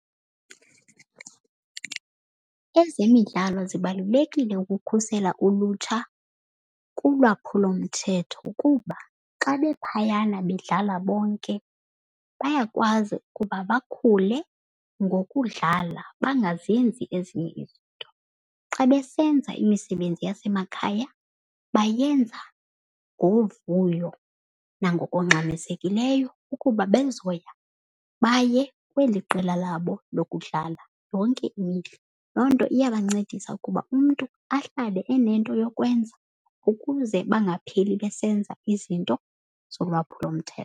Ezemidlalo zibalulekile ukukhusela ulutsha kulwaphulomthetho kuba xa bephayana bedlala bonke bayakwazi ukuba bakhule ngokudlala bengazenzi ezinye izinto. Xa besenza imisebenzi yasemakhaya bayenza ngovuyo nangokungxamisekileyo ukuba bezoya baye kweli qela labo lokudlala yonke imihla. Loo nto iya bancedisa ukuba umntu ahlale enento yokwenza ukuze bangapheli besenza izinto zolwaphulomthetho.